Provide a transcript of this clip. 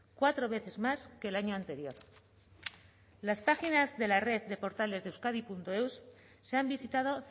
cuatro veces más que el año anterior las páginas de la red de portales de euskadieus se han visitado